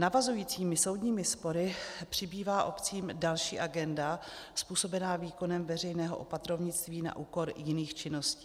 Navazujícími soudními spory přibývá obcím další agenda způsobená výkonem veřejného opatrovnictví na úkor jiných činností.